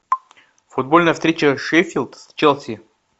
футбольная встреча шеффилд с челси